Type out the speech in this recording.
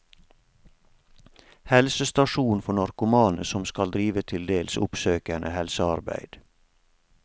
Helsestasjon for narkomane som skal drive til dels oppsøkende helsearbeid.